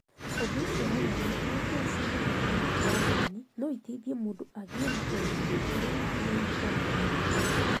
Ũndũ ũcio ũronania ũrĩa njĩra cia gũthoma na njĩra nini no iteithie mũndũ agĩe na ũmenyo ũrĩa wagĩrĩire o na wĩra-inĩ